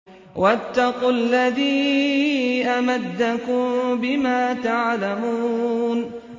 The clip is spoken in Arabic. وَاتَّقُوا الَّذِي أَمَدَّكُم بِمَا تَعْلَمُونَ